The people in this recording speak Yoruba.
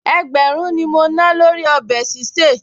Ẹgbẹ̀rún ni mo ná lórí ọbẹ̀ sísè